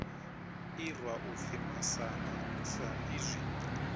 irwa u pfi masana saizwi